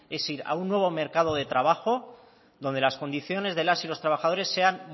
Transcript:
es ir a un nuevo mercado de trabajo donde las condiciones de las y los trabajadores sean